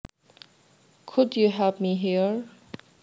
Could you help me here